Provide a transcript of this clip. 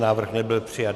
Návrh nebyl přijat.